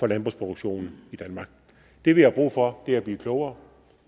landbrugsproduktionen i danmark det vi har brug for er at blive klogere